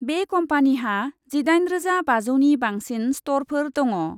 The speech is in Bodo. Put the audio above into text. बे कम्पानिहा जिदाइन रोजा बाजौनि बांसिन स्टरफोर दङ।